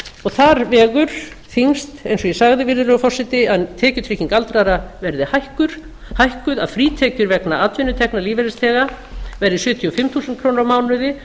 og þar vegur þyngst eins og ég sagði virðulegur forseti að tekjutrygging aldraðra verði hækkuð að frítekjur vegna atvinnutekna lífeyrisþega verði sjötíu og fimm þúsund krónur á mánuði